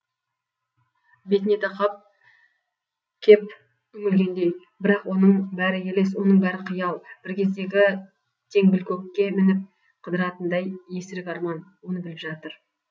бетіне тақап кеп үңілгендей бірақ оның бәрі елес оның бәрі қиял бір кездегі теңбілкөкке мініп қыдыратындай есірік арман оны біліп жатыр